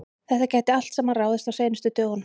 Þetta gæti allt saman ráðist á seinustu dögunum.